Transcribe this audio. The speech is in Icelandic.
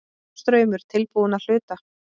Norðurstraumur tilbúinn að hluta